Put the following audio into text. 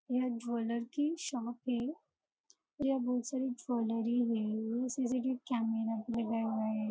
यहाँ ज्वेलर की शॉप है जहाँ बहुत सारी ज्वेलरी बैंग्ल्स है सी.सी.टी.वी. कैमरा भी लगाये हुए है।